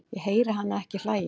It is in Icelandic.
Ég heyri hana ekki hlæja